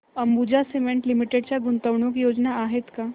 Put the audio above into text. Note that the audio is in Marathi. अंबुजा सीमेंट लिमिटेड च्या गुंतवणूक योजना आहेत का